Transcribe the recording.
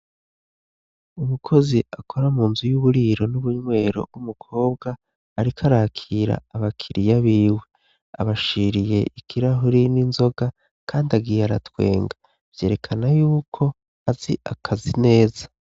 Umukozi akora mu nzu y'uburiro n'ubunywero w'umukobwa, ariko arakira abakiriya biwe abashiriye ikirahuri n'inzoga, kandi agiye aratwenga vyerekana yuko azi akazi neza.